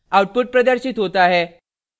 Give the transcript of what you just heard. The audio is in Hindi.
output प्रदर्शित होता है